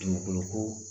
Dugukolo ko